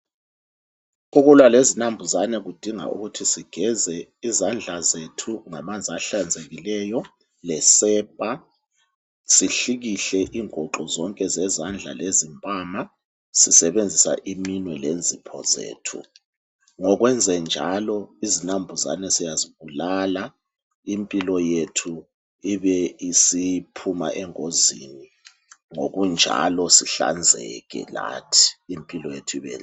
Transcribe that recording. Ukulwa lezinambuzane kudinga ukuthi sigeze izandla zethu ngamanzi ahlanzekileyo, lesepa sihlikihle inguxu zonke zezandla lezimpama sisebenzisa iminwe lenzipho zethu. Ngokwenzenjalo izinambuzane siyazibulala impilo yethu ibe isiphuma engozini ngokunjalo sihlanzeke lathi impilo yethu ibenhle.